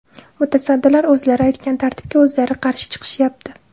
Mutasaddilar o‘zlari aytgan tartibga o‘zlari qarshi chiqishyapti.